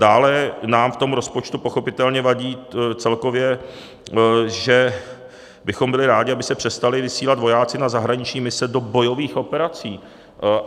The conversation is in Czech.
Dále nám v tom rozpočtu pochopitelně vadí celkově, že bychom byli rádi, aby se přestali vysílat vojáci na zahraniční mise do bojových operací.